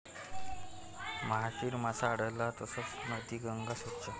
महाशीर मासा आढळला तरचं नदी गंगा स्वच्छ!